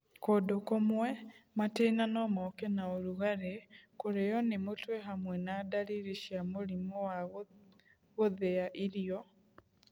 Kũndũ kũmwe, matĩna no moke na ũrugarĩ, kũrĩo nĩ mũtwe hamwe na ndariri cia mũrimũ wa gũthia irio